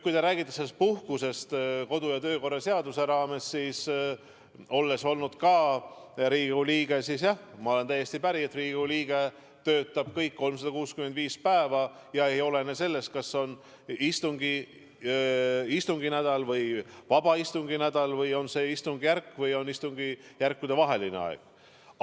Kui te räägite puhkusest kodu- ja töökorra seaduse raames, siis olles olnud ka Riigikogu liige, ma olen täiesti päri, et Riigikogu liige töötab kõik 365 päeva ja see ei olene sellest, kas on istunginädal või istungivaba nädal, kas on istungjärgu aeg või on istungjärkude vaheline aeg.